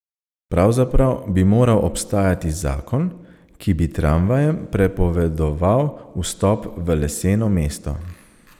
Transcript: Pravzaprav bi moral obstajati zakon, ki bi tramvajem prepovedoval vstop v leseno mesto.